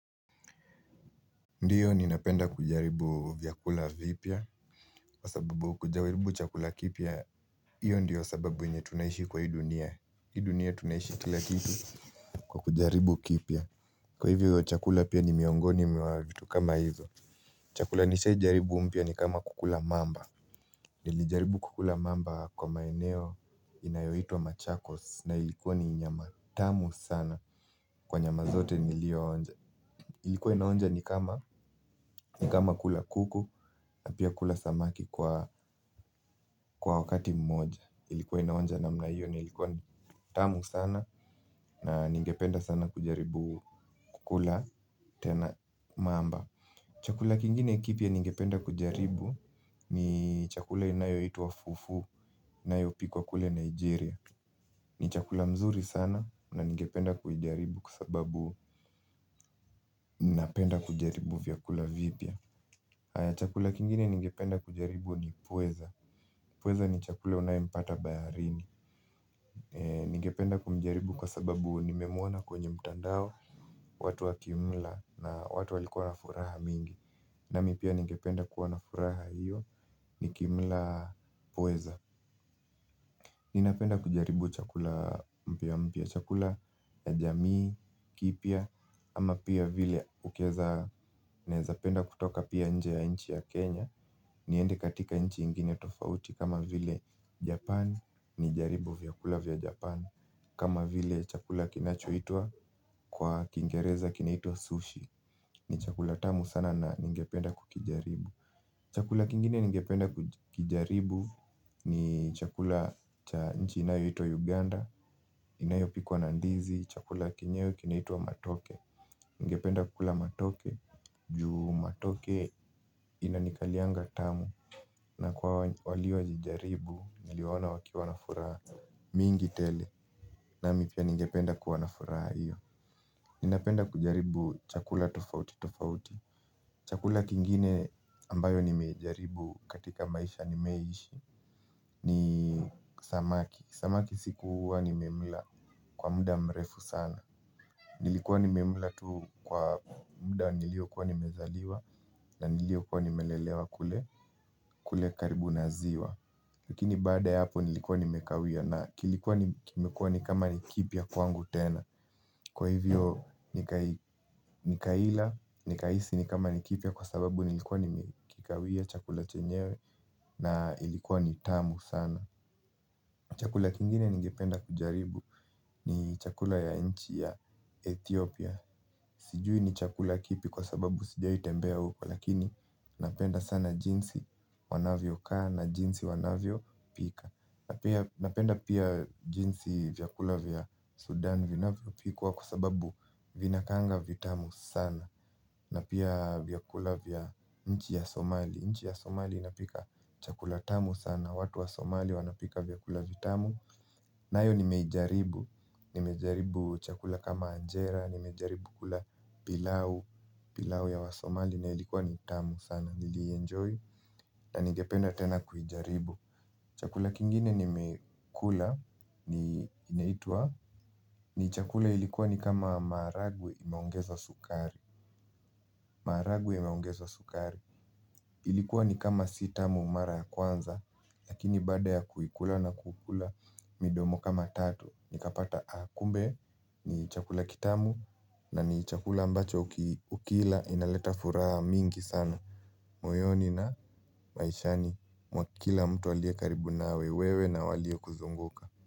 Ndiyo ninapenda kujaribu vyakula vipya. Kwa sababu kujaribu chakula kipya hiyo ndiyo sababu yenye tunaishi kwa hii dunia. Hii dunia tunaishi kila kitu kwa kujaribu kipya. Kwa hivyo chakula pia ni miongoni mwa vitu kama hizo. Chakula nishai jaribu mpya ni kama kukula mamba. Nilijaribu kukula mamba kwa maeneo inayoitwa machakos na ilikuwa ni nyama tamu sana. Kwa nyama zote nilioonja ilikuwa inaonja ni kama ni kama kula kuku na pia kula samaki kwa kwa wakati mmoja. Ilikuwa inaonja namna hiyo na ilikuwa tamu sana. Na ningependa sana kujaribu kukula tena mamba. Chakula kingine kipya ningependa kujaribu. Ni chakula inayoitwa Fufu inayopikwa kule Nigeria. Ni chakula mzuri sana na ningependa kujaribu kwa sababu napenda kujaribu vyakula vipya. Chakula kingine ningependa kujaribu ni pweza. Pweza ni chakula unaempata baharini. Ningependa kumjaribu kwa sababu nimemwona kwenye mtandao. Watu wakimla na watu walikuwa na furaha mingi. Na mi pia ningependa kuwa na furaha hiyo nikimla pweza. Ninapenda kujaribu chakula mpya mpya chakula ya jamii, kipya. Ama pia vile ukiweza naweza penda kutoka pia nje ya nchi ya Kenya. Niende katika nchi nyingine tofauti kama vile Japan. Nijaribu vyakula vya Japan. Kama vile chakula kinachoitwa kwa kingereza kinaitwa sushi. Ni chakula tamu sana na ningependa kukijaribu. Chakula kingine ningependa kukijaribu. Ni chakula nchi inayoitwa Uganda. Inayopikwa na ndizi chakula chenyewe kinaitwa Matoke ningependa kukula Matoke juu Matoke inanikalianga tamu. Na kwa waliowahi jaribu niliwaona wakiwa nafuraha mingi tele nami pia ningependa kuwa na furaha hiyo. Ninapenda kujaribu chakula tofauti tofauti. Chakula kingine ambayo nimejaribu katika maisha nimeishi ni samaki. Samaki sikuwa nimemla kwa muda mrefu sana. Nilikuwa nimemla tu kwa muda niliokuwa nimezaliwa na niliokuwa nimelelewa kule karibu na ziwa. Lakini baada ya hapo nilikuwa nimekawia na kilikuwa kimekua ni kama ni kipya kwangu tena. Kwa hivyo nikai nikaila nikahisi ni kama ni kipya kwa sababu nilikuwa nimekikawia chakula chenyewe na ilikuwa ni tamu sana. Chakula kingine ningipenda kujaribu ni chakula ya nchi ya Ethiopia. Sijui ni chakula kipi kwa sababu sijawahi tembea huko lakini napenda sana jinsi wanavyokaa na jinsi wanavyopika. Napenda pia jinsi vyakula vya Sudan vinavyopikwa kwa sababu vinakaanga vitamu sana. Na pia vyakula vya nchi ya Somali. Nchi ya Somali inapika chakula tamu sana. Watu wa Somali wanapika vyakula vitamu. Nayo nimejaribu. Nimejaribu chakula kama anjera nimejaribu kula pilau. Pilau ya wasomali na ilikuwa ni tamu sana nilienjoy na ningependa tena kujaribu. Chakula kingine ni nmekula ni inaitwa ni chakula ilikuwa ni kama maharagwe imeongezwa sukari. Maharagwe imeongezwa sukari. Ilikuwa ni kama si tamu mara kwanza. Lakini baada ya kuikula na kukula midomo kama tatu. Nikapata kumbe ni chakula kitamu. Na ni chakula ambacho ukila inaleta furaha mingi sana moyoni na maishani mwa kila mtu aliye karibu na wewe na waliokuzunguka.